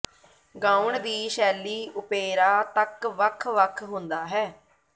ਗਾਉਣ ਦੀ ਸ਼ੈਲੀ ਓਪੇਰਾ ਤੱਕ ਵੱਖ ਵੱਖ ਹੁੰਦਾ ਹੈ